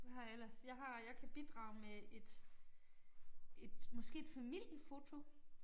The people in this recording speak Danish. Hvad har jeg ellers jeg har jeg kan bidrage med et et måske et familiefoto